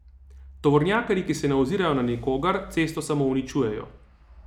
Tovornjakarji, ki se ne ozirajo na nikogar, cesto samo uničujejo.